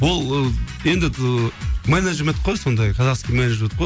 ол ы енді ы менеджмент қой сондай казахский менеджмент қой